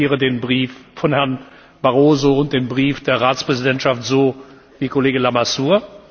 Ich interpretiere den Brief von Herrn Barroso und den Brief der Ratspräsidentschaft so wie Kollege Lamassoure.